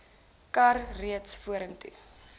kar reeds vorentoe